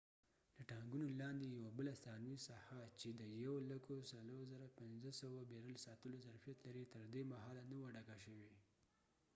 د ټانګونو لاندې یوه بله ثانوي ساحه چې د 104,500 بیرل ساتلو ظرفیت لري تر دې مهاله نه وه ډکه شوي